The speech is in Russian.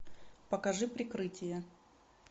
покажи прикрытие